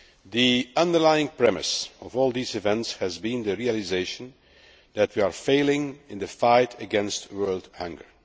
The underlying premise of all these events has been the realisation that we are failing in the fight against world hunger.